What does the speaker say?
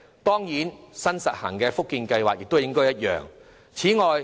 當然，新實行的福建計劃亦應有相同的安排。